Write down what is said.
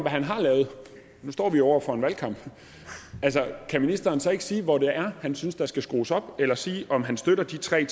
han har lavet nu står vi over for en valgkamp kan ministeren så ikke sige hvor det er han synes der skal skrues op eller sige om han støtter de tre